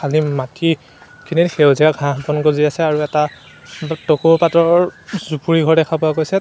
খালি মাটি খিনিত সেউজীয়া ঘাঁহ অকণ গজি আছে আৰু এটা টকৌ পাতৰ জুপুৰি ঘৰ দেখা পোৱা গৈছে।